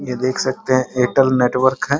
ये देख सकते है एयरटेल नेटवर्क है।